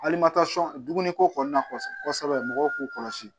Alimasɔn dumuniko kɔnɔna mɔgɔw k'u kɔlɔsi